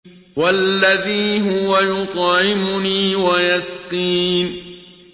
وَالَّذِي هُوَ يُطْعِمُنِي وَيَسْقِينِ